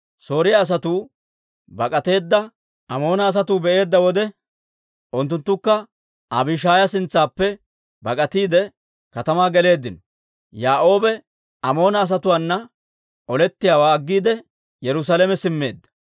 Sooriyaa asatuu bak'ateeddawaa Amoona asatuu be'eedda wode, unttunttukka Abishaaya sintsaappe bak'atiide, katamaa geleeddino. Yoo'aabe Amoona asatuwaana olettiyaawaa aggiide, Yerusaalame simmeedda.